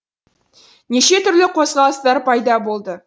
неше түрлі қозғалыстар пайда болды